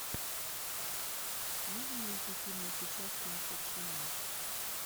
можно найти фильмы с участием шукшина